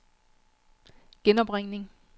genopringning